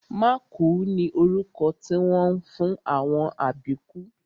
Mákùú ni orúkọ tí wọ́n ń fún àwọn àbíkú